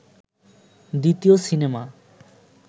দ্বিতীয় সিনেমা